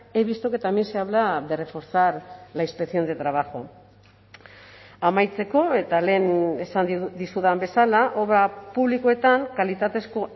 he visto que también se habla de reforzar la inspección de trabajo amaitzeko eta lehen esan dizudan bezala obra publikoetan kalitatezko